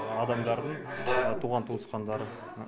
адамдардың жаңағы туған туысқандары